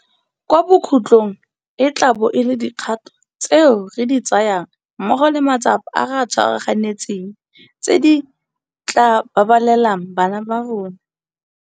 Kwa bokhutlong e tla bo e le dikgato tseo re di tsayang mmogo le matsapa a re a tshwaraganetseng tse di tla babalelang bana ba rona.